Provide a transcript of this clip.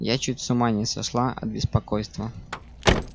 я чуть с ума не сошла от беспокойства